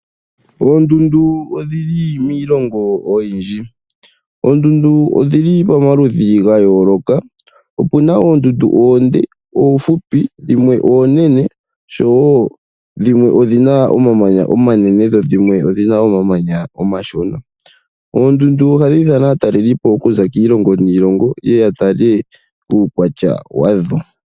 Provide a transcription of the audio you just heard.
Oondundu odhili miilongo oyindji. Oondundu odhili pamaludhi ga yooloka, opuna oondundu oonde, oofupi, dhimwe oonene oshowo dhimwe odhina omamanya omanene, dho dhimwe odhina omamanya omashona. Oondundu ohadhi ithana aatalelipo okuza kiilongo niilongo, ye ye ya tale uukwatya wadho.